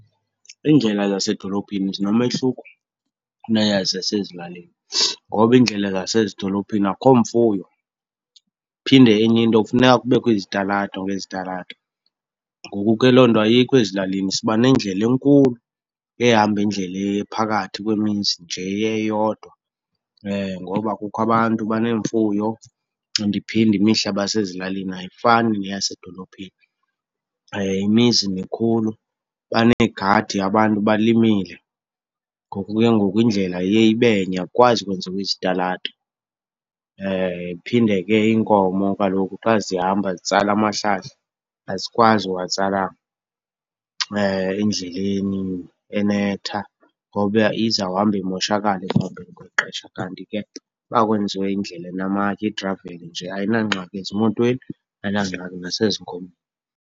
Iindlela zasedolophini zinomehluko kuneyasezilalini ngoba iindlela zasezidolophini akho mfuyo, phinde enye into kufuneka kubekho izitalato ngezitalato. Ngoku ke loo nto ayikho ezilalini, siba nendlela enkulu ehamba indlela eya phakathi kwemizi nje eyodwa. Ngoba kukho abantu, baneemfuyo and iphinde, imihlaba yasesilalini ayifani neyasedolophini. Imizi mikhulu, baneegadi abantu balimile, ngoku ke ngoku indlela iye ibe nye akukwazi ukwenziwa izitalato. Iphinde ke, iinkomo kaloku xa zihamba zitsala amahlahla, azikwazi uwatsala endleleni enetha ngoba izawuhamba imoshakale ekuhambeni kwexesha. Kanti ke uba kwenziwe indlela enamatye, igravel nje, ayinangxaki ezimotweni, ayinangxaki nasezinkomeni.